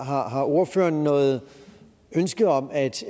har har ordføreren noget ønske om at